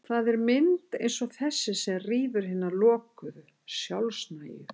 Það er mynd eins og þessi sem rýfur hina lokuðu, sjálfnægu